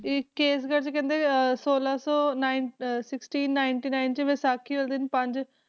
ਤੇ ਕੇਸਗੜ੍ਹ 'ਚ ਕਹਿੰਦੇ ਅਹ ਛੋਲਾਂ ਸੌ nine ਅਹ sixty ninety nine 'ਚ ਵਿਸਾਖੀ ਵਾਲੇ ਦਿਨ ਪੰਜ